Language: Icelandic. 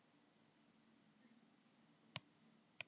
trapisa er ferhyrningur sem hefur tvær hliðar sem eru samsíða